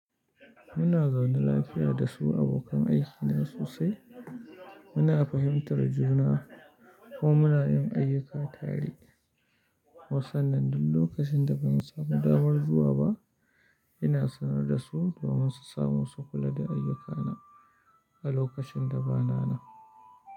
Muna zaune lafiya da su abokan aikina sosai. Muna fahimtar juna ko muna yin ayyuka tare. Wassan nan duk lokacin da ban samu damar zuwa ba, ina sanar da su domin su samo sukula da ayyukana a lokacin da ba na nan.